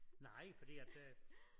Nej fordi at øh